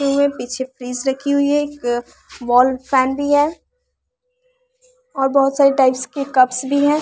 पीछे फ्रिज रखी हुई है एक वॉल फैन भी है और बहुत सारे टाइप्स के कप्स भी है।